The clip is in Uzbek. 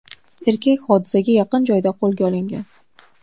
Erkak hodisaga yaqin joyda qo‘lga olingan.